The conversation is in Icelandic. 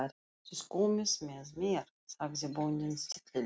Þið komið með mér, sagði bóndinn stillilega.